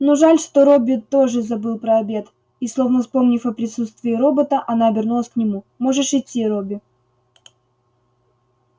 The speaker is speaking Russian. ну жаль что робби тоже забыл про обед и словно вспомнив о присутствии робота она обернулась к нему можешь идти робби